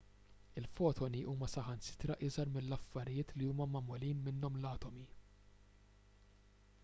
il-fotoni huma saħansitra iżgħar mill-affarijiet li huma magħmulin minnhom l-atomi